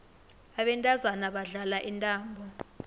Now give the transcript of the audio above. abantazana badlala intambo